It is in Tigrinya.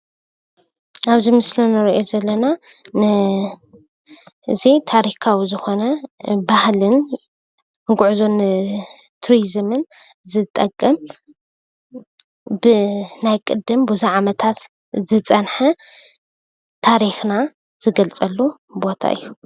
ኣበዚ ምስሊ ንርኦ ዘለና እዚ ታሪካዊ ዝኾነ ባህልን ጉዕዞ ቱሪዝምን ዝጠቅም ብናይ ቅድም ብዙሕ ዓመታት ዝፀነሐ ታሪኽና ንገልፀሉ ቦታ እዩ።